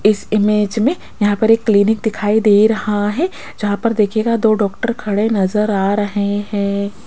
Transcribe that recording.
इस इमेज में यहां पर एक क्लीनिक दिखाई दे रहा है जहां पर दिखेगा दो डॉक्टर खड़े नजर आ रहे हैं।